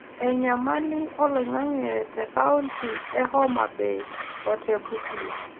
enyamali oloing'ang'e te kaonti e Homa Bay o te Busia